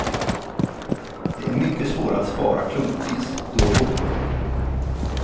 Det är mycket svårare att spara klumpvis då och då.